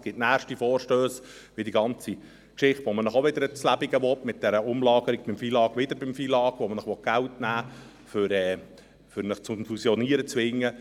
Es wird nächste Vorstösse geben, wie etwa die ganze Geschichte mit dieser Umlagerung – wieder beim FILAG –, mit der man Ihnen wieder ans Lebendige und Geld nehmen will, um Sie zum Fusionieren zu zwingen.